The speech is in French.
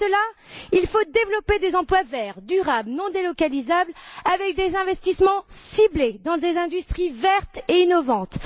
Pour cela, il faut développer des emplois verts, durables, non délocalisables avec des investissements ciblés dans des industries vertes et innovantes.